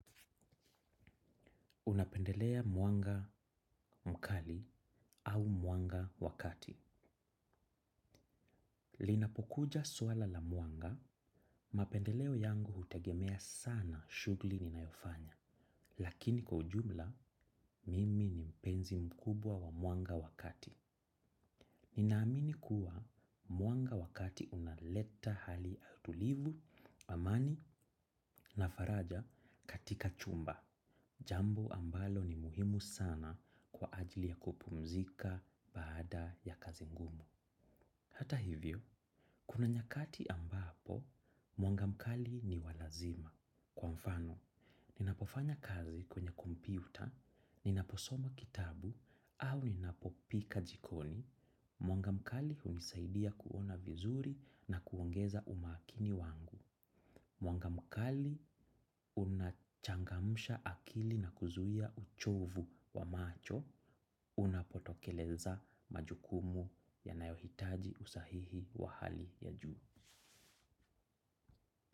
Unapendelea mwanga mkali au mwanga wa kati. Linapokuja swala la mwanga, mapendeleo yangu hutegemea sana shughuli ninayofanya. Lakini kwa ujumla, mimi ni mpenzi mkubwa wa mwanga wa kati. Ninaamini kuwa mwanga wakati unaleta hali tulivu, amani na faraja katika chumba. Jambo ambalo ni muhimu sana kwa ajili ya kupumzika baada ya kazi ngumu. Hata hivyo, kuna nyakati ambapo, mwanga mkali ni wa lazima. Kwa mfano, ninapofanya kazi kwenye kompyuta, ninaposoma kitabu, au ninapopika jikoni, mwanga mkali hunisaidia kuona vizuri na kuongeza umakini wangu. Mwanga mkali unachangamsha akili na kuzuia uchovu wa macho unapotokeleza majukumu yanayohitaji usahihi wa hali ya juu.